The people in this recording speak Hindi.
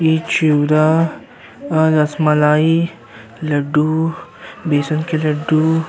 चिवड़ा रसमलाई लड्डू बेसन के लड्डू --